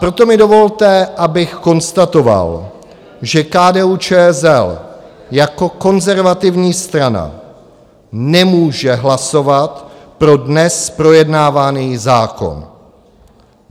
Proto mi dovolte, abych konstatoval, že KDU-ČSL jako konzervativní strana nemůže hlasovat pro dnes projednávaný zákon.